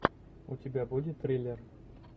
у тебя будет триллер